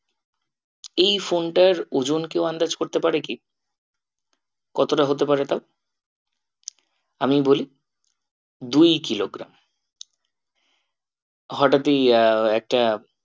এই phone টার ওজন কেউ আন্দাজ করতে পারে কি? কতটা হতে পারে তাও? আমি বলি দুই কিলোগ্রাম হঠাৎই আহ একটা